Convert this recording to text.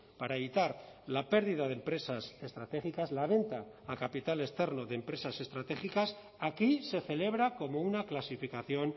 para evitar la pérdida de empresas estratégicas la venta a capital externo de empresas estratégicas aquí se celebra como una clasificación